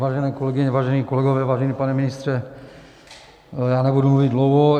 Vážené kolegyně, vážení kolegové, vážený pane ministře, já nebudu mluvit dlouho.